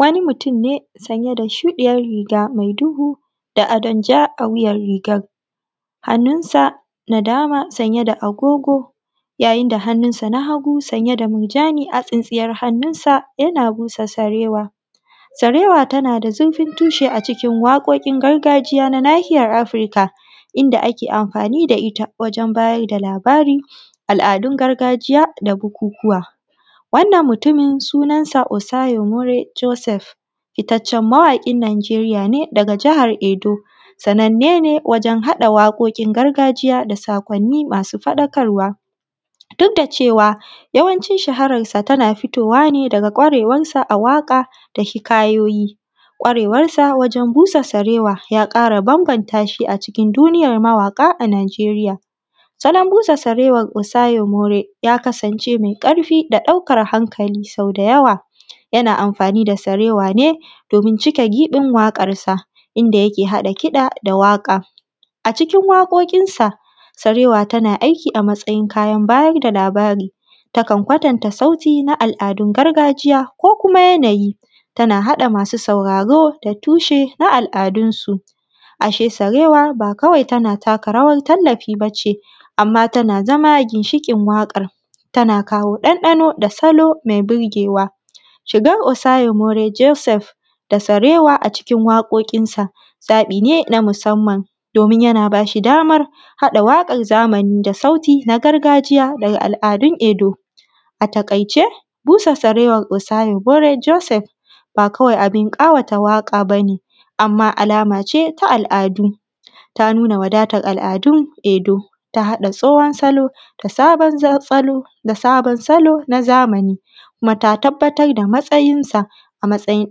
Wani mutum ne sanye da shuɗiyar riga mai duhu da adon ja a wuyar rigar, hannun sa na dama sanye da agogo, yayinda hannun san a hagu sanye da murjani a tsintsiyar hannun sa yana busa sarewa. Sarewa tana da zurfin tushe a cikin waƙoƙin gargajiya na nahiyar afrika, inda ake amfani da ita wajen bayar da labara, al’adun gargajiya da bukukuwa. Wannan mutumin sunan sa Osayomore Joseph, fitaccen mawaƙin nijeriya ne daga jahar Edo, sananne ne wajen haɗa waƙoƙin gargajiya da saƙonni masu faɗakarwa, duk da cewa yawancin shaharan sa tana fitowa ne daga ƙwarewar sa a waƙa da hikayoyi, ƙwarewar sa wajen busa sarewa ya ƙara bambanta shi acikin duniyar mawaƙa a nijeriya. Salon busa sarewar Osayomore ya kasance mai ƙarfi da ɗaukar hankali, sau da yawa yana amfani da sarewa ne domin cike giɓin waƙar sa, inda yake haɗa kiɗa da waƙa. A cikin waƙoƙin sa, sarewa tana aiki a matsayin kayan bayar da labara, ta kan kwatanta sauti na al’adun gargajiya ko kuma yanayi, tana haɗa masu sauraro da tushe na al’adun su, a she sarewa ba kawai tana taka rawar tallafi bace amma tana zama ginshiƙin waƙar, tana kawo ɗanɗano da salo mai burgewa. Shigar Osayomore Joseph da sarewa acikin waƙoƙin sa zaɓi ne na musamman, domin yana bashi damar haɗa waƙar zamani da sauti na gargajiya daga al’adun Edo. A taƙaice, busa sarewar Osayomore Joseph ba kawai abun ƙawata waƙa bane, amma alama ce ta al’adu, ta nuna wadatar al’adun Edo, ta haɗa tsohon salo da sabon salon a zamani kuma ta tabbatar da matsayin sa, a matsayin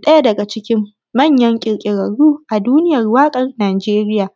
ɗaya daga cikin manya.